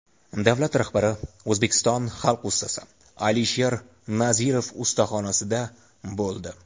Davlat rahbari O‘zbekiston xalq ustasi Alisher Nazirov ustaxonasida bo‘ldi.